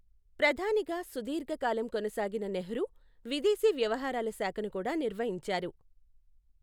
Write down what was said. ప్రధానిగా సుదీర్ఘకాలం కొనసాగిన నెహ్రూ విదేశీ వ్యవహారాల శాఖను కూడా నిర్వహించారు.